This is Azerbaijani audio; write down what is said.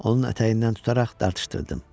Onun ətəyindən tutaraq dartışdırdım.